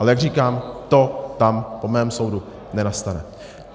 Ale jak říkám, to tam po mém soudu nenastane.